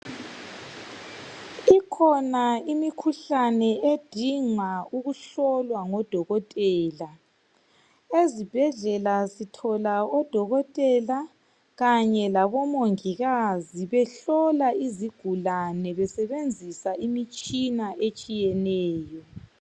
Ikhona imikhuhlane edinga ukuhlolwa ngodokotela. Ezibhedlela sithola odokotela kanye labomongikazi behlola izigulane besebenzisa imitshina etshiyeneyo.